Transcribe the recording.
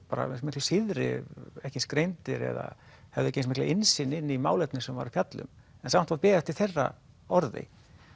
miklu síðri ekki eins greindir eða höfðu ekki eins mikla innsýn í málefnið sem þeir voru að fjalla um en samt var beðið eftir þeirra orði